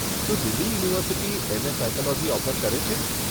શું Delhi university MA. Psychology offer કરે છે?